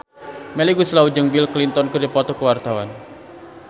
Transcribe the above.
Melly Goeslaw jeung Bill Clinton keur dipoto ku wartawan